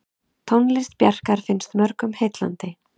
Tónlist Bjarkar finnst mörgum heillandi.